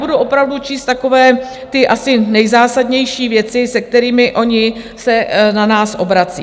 Budu opravdu číst takové ty asi nejzásadnější věci, se kterými oni se na nás obrací.